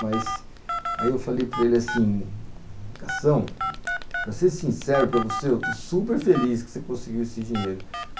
Mas aí eu falei para ele assim, Cação, para ser sincero para você, eu estou super feliz que você conseguiu esse dinheiro.